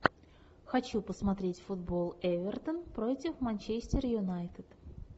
хочу посмотреть футбол эвертон против манчестер юнайтед